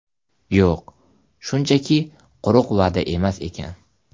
Yo‘q, shunchaki quruq va’da emas ekan.